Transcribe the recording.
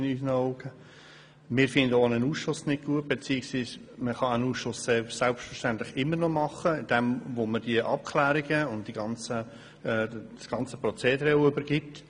Wir finden auch einen Ausschuss nicht gut beziehungsweise ein solcher kann selbstverständlich immer noch gebildet werden, indem man diesem die Abklärungen und das ganze Prozedere übergibt.